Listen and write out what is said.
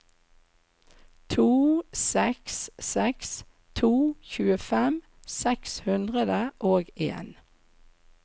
to seks seks to tjuefem seks hundre og en